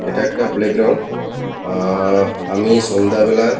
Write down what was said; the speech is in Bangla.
এটা একটা প্লে গ্রাউন্ড আ-আ-আহ আমি সন্ধ্যাবেলায়--